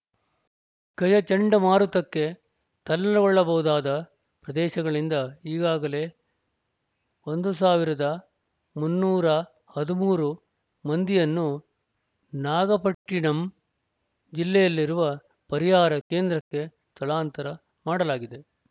ಗಜ ಚಂಡಮಾರುತಕ್ಕೆ ತಲ್ಲ ಗೊಳ್ಳಬಹುದಾದ ಪ್ರದೇಶಗಳಿಂದ ಈಗಾಗಲೇ ಒಂದು ಸಾವಿರದ ಮುನ್ನೂರ ಹದಿಮೂರು ಮಂದಿಯನ್ನು ನಾಗಪಟ್ಟಿಣಂ ಜಿಲ್ಲೆಯಲ್ಲಿರುವ ಪರಿಹಾರ ಕೇಂದ್ರಕ್ಕೆ ಸ್ಥಳಾಂತರ ಮಾಡಲಾಗಿದೆ